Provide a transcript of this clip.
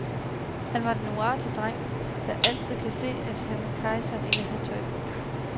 Han var den uartige dreng, der altid kan se, at kejseren ikke har tøj på.